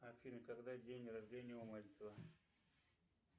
афина когда день рождения у мальцева